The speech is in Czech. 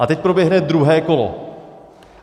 A teď proběhne druhé kolo.